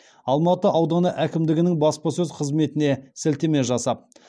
алматы ауданы әкімдігінің баспасөз қызметіне сілтеме жасап